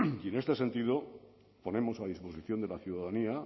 y en este sentido ponemos a disposición de la ciudadanía